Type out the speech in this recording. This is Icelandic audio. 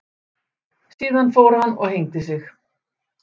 Síðan fór hann og hengdi sig.